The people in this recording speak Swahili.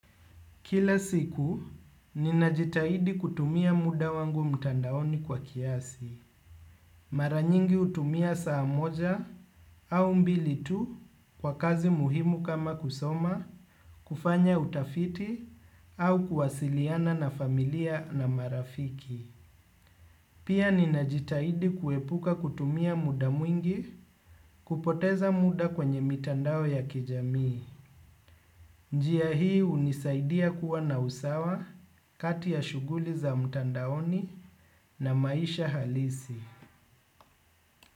Kila siku, ninajitahidi kutumia muda wangu mtandaoni kwa kiasi. Maranyingi hutumia saa moja au mbili tu kwa kazi muhimu kama kusoma, kufanya utafiti, au kuwasiliana na familia na marafiki. Pia ninajitahidi kuepuka kutumia muda mwingi kupoteza muda kwenye mitandao ya kijamii. Njia hii hunisaidia kuwa na usawa kati ya shughuli za mtandaoni na maisha halisi.